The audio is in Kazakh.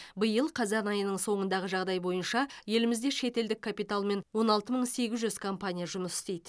биыл қазан айының соңындағы жағдай бойынша елімізде шетелдік капиталмен он алты мың сегіз жүз компания жұмыс істейді